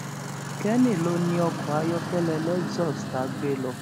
kenny ló ni ọkọ ayọkẹlẹ lexus tá a gbé lọ